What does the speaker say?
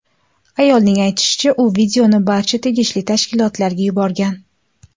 Ayolning aytishicha, u videoni barcha tegishli tashkilotlarga yuborgan.